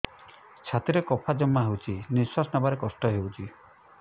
ଛାତିରେ କଫ ଜମା ହୋଇଛି ନିଶ୍ୱାସ ନେବାରେ କଷ୍ଟ ହେଉଛି